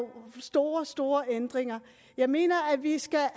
store store ændringer jeg mener at vi skal